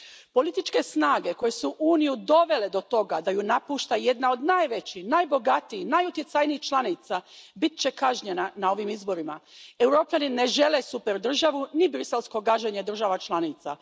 Političke snage koje su Uniju dovele do toga da je napušta jedna od najvećih, najbogatijih i najutjecajnijih članica bit će kažnjene na ovim izborima. Europljani ne žele superdržavu ni briselsko gaženje država članica.